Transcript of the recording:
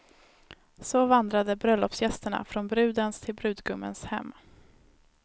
Så vandrade bröllopsgästerna från brudens till brudgummens hem.